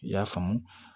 I y'a faamu